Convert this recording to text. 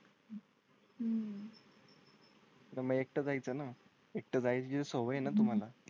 हम्म. तुम्ही एकटं जायचं ना एकटं जाय ची सोय आहे ना तुम्हाला?